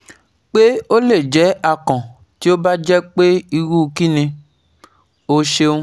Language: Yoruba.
pe o le jẹ akàn ti o ba jẹ pe iru kini? O ṣeun